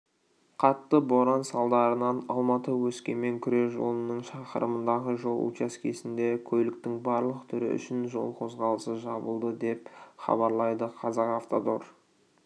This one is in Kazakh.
қатты боран салдарынан алматы-өскемен күре жолының шақырымындағы жол учаскесінде көліктің барлық түрі үшін жол қозғалысы жабылды деп хабарлайды казахавтодор